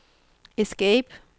escape